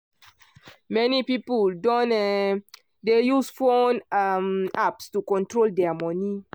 many people don um dey use phone um apps to control dia money.